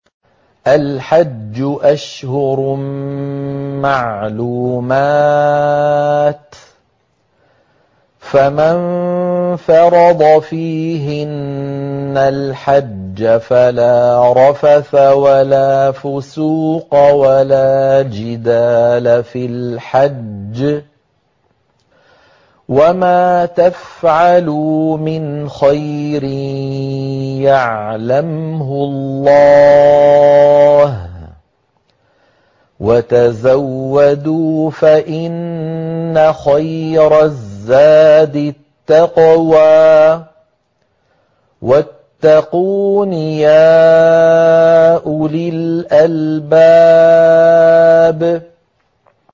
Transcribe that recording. الْحَجُّ أَشْهُرٌ مَّعْلُومَاتٌ ۚ فَمَن فَرَضَ فِيهِنَّ الْحَجَّ فَلَا رَفَثَ وَلَا فُسُوقَ وَلَا جِدَالَ فِي الْحَجِّ ۗ وَمَا تَفْعَلُوا مِنْ خَيْرٍ يَعْلَمْهُ اللَّهُ ۗ وَتَزَوَّدُوا فَإِنَّ خَيْرَ الزَّادِ التَّقْوَىٰ ۚ وَاتَّقُونِ يَا أُولِي الْأَلْبَابِ